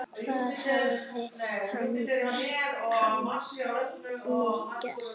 Hvað hafði hann nú gert?